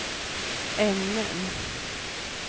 ämnen